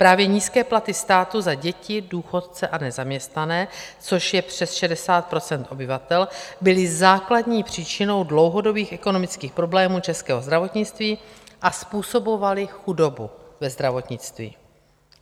Právě nízké platy státu za děti, důchodce a nezaměstnané, což je přes 60 % obyvatel, byly základní příčinou dlouhodobých ekonomických problémů českého zdravotnictví a způsobovaly chudobu ve zdravotnictví.